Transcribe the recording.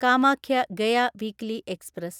Kamakhya Gaya weekly express